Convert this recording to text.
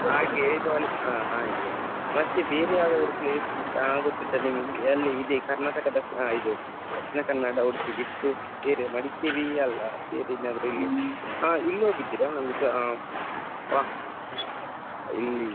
ಹ ಹಾಗೆ ಮತ್ತೆ ಬೇರೆ ಯಾವ್ದಾದ್ರು place ಆ ಗೊತ್ತುಂಟಾ ನಿಮಿಗೆ ಯಲ್ಲಿ ಇದೆ karnataka ಆ ಇದು Dakshina kannada, Udupi ಬಿಟ್ಟು ಬೇರೆ Madikeri ಅಲ್ಲ ಬೇರೆ ಇನ್ ಯಾವ್ದಾದ್ರು ಹ ಇಲ್ ಹೋಗಿದ್ದೀರಾ ಆ ಪ ಇಲ್ಲಿ.